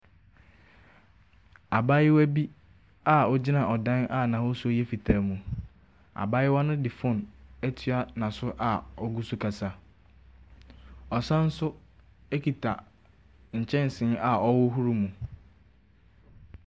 Abaayewa bi a ogyina ɔdan a n'ahosuo yɛ fitaa mu. Abaayewa no de fon etua n'aso a ogu so kasa. Ɔsan so ekita nkyɛnse a ɔhohoro mu.